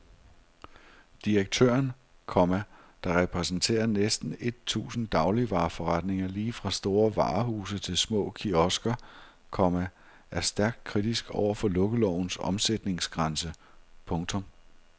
Direktøren, komma der repræsenterer næsten et tusind dagligvareforretninger lige fra store varehuse til små kiosker, komma er stærkt kritisk over for lukkelovens omsætningsgrænse. punktum